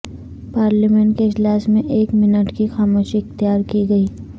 parliament کے اجلاس میں ایک منٹ کی خاموشی اختیار کی گئی